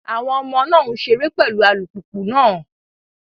Àwọn ọmọ náà ń ṣeré pẹ̀lú alùpùpù náà.